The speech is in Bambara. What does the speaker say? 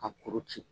Ka kuru ci